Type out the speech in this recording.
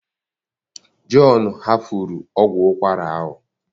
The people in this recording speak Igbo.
John hafuru ọgwụ ụkwara ahụ